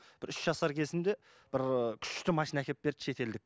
бір үш жасар кезімде бір күшті машина әкеліп берді шетелдік